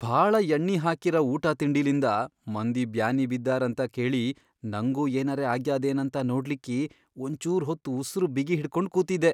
ಭಾಳ ಯಣ್ಣಿಹಾಕಿರ ಊಟಾತಿಂಡಿಲಿಂದ ಮಂದಿ ಬ್ಯಾನಿ ಬಿದ್ದಾರಂತ ಕೇಳಿ ನಂಗೂ ಏನರೆ ಆಗ್ಯಾದೇನಂತ ನೋಡ್ಲಿಕ್ಕಿ ಒಂಚೂರ್ ಹೊತ್ ಉಸರ್ ಬಿಗಿ ಹಿಡಕೊಂಡ್ ಕೂತಿದ್ದೆ.